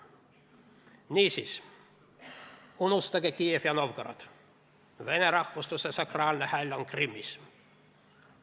" Niisiis, unustage Kiiev ja Novgorod, vene rahvusluse sakraalne häll on Krimmis.